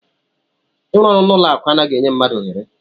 Ịrụ ọrụ n'ụlọ akụ anaghị enye mmadụ ohere.